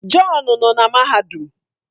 John nọ na mahadum